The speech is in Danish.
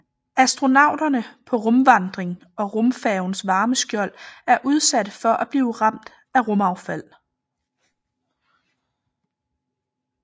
Astronauterne på rumvandring og rumfærgens varmeskjold er udsatte for at blive ramt af rumaffald